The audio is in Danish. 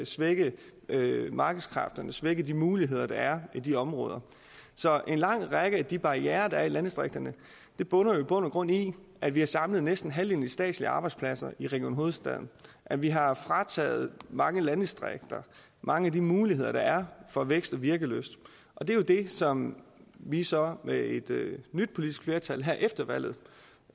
svække markedskræfterne svække de muligheder der er i de områder så en lang række af de barrierer der er i landdistrikterne bunder i bund og grund i at vi har samlet næsten halvdelen af de statslige arbejdspladser i region hovedstaden at vi har frataget mange landdistrikter mange af de muligheder der er for vækst og virkelyst og det er det som vi så med et nyt politisk flertal her efter valget